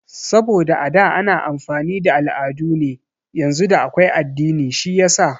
Saboda a da ana amfani da al'adu ne yanzu da akwai addini shiyasa